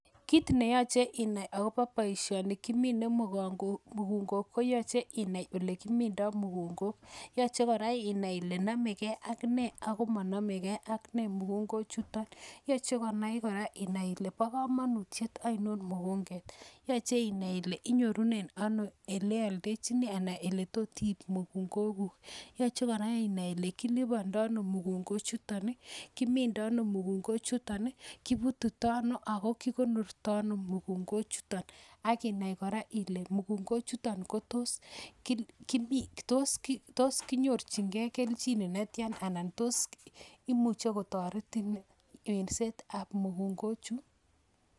Kit neyachei inai akobo boishoni bo minsetab mugungek koyachei inai kole namegei akne ako manamegei ak ne mugungok chutok. Yachei kora inai kole bo kamanut ainon mugungok Yachei inai ile ialdechini ano anan ole tos iib mugungok guk. Yachei kora ile kilipandoi ano mugungok chutok. Kimindoi ano mugungok choton, kipututoi ano, ako kikonortai ano mugungok choton kotas kiyorchin gei keljin netya ana imuchei kotoretin minset ab mugungok choton.